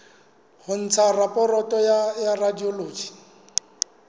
ho ntsha raporoto ya radiology